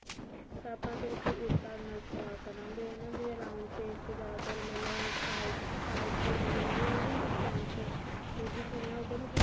ਤਾਂ ਆਪਾਂ ਉਸ ਹਿਸਾਬ ਨਾਲ ਆ ਕਰਾਂਗੇ ਉਹ ਨਾ ਜੀਵਨ round face ਤੇ ਜਿਆਦਾ ਤਰ ਮਤਲਬ side ਤੋਂ ਮਤਲਬ ਜਿਹੜੀ ਉਹ ਨੀ ਹੁੰਦੀ French ਮਿਡੀ ਸੁਣਿਆ ਹੋਊ ਗਾ ਤੁਸੀਂ